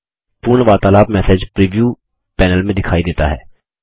पूर्ण वार्तालाप message preview panel में दिखाई देता है